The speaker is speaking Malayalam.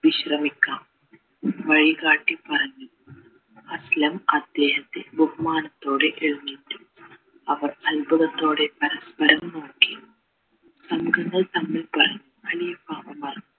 വിശ്രമിക്കാം വഴികാട്ടി പറഞ്ഞു അദ്ദേഹത്തെ ബഹുമാനത്തോടെ എഴുന്നേറ്റു അവർ അത്ഭുതത്തോടെ പരസ്പരം നോക്കി ഖലീഫ ഉമർ